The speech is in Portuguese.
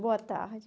Boa tarde.